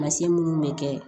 Mansin minnu bɛ kɛ